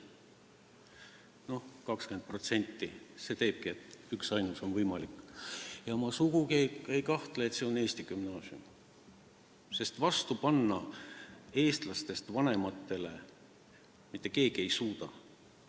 Noh, 20% – sellest tulenebki, et võimalik on üksainus ja ma sugugi ei kahtle, et see on eesti gümnaasium, sest eestlastest vanematele ei suuda mitte keegi vastu panna.